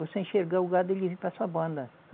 Você enxergar o gado, ele vem para sua banda.